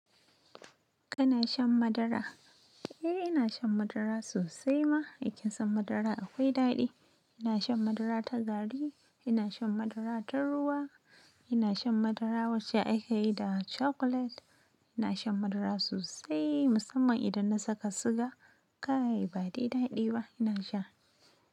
Kana shan madara? Eh ina shan madara sosai ma. Kin san madara akwai daɗi. Ina shan madara ta gari, ina shan madara ta ruwa, ina shan madara wacce akayi da chocolate. Ina shan madara sosai musamman idan na saka siga. Kai badai daɗi ba? Ina sha.